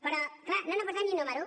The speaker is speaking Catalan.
però clar no han aportat ni un número